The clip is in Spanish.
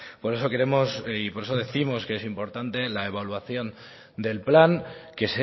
por eso queremos y por eso décimos que es importante la evaluación del plan que